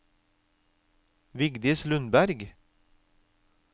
Vigdis Lundberg